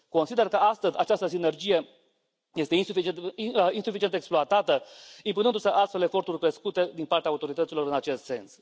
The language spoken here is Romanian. Consider că astăzi această sinergie este insuficient exploatată, impunându se astfel eforturi crescute din partea autorităților în acest sens.